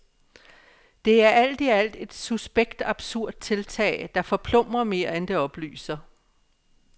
Det er alt i alt et suspekt og absurd tiltag, der forplumrer mere, end det oplyser.